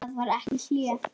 Það var ekkert hlé.